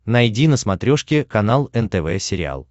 найди на смотрешке канал нтв сериал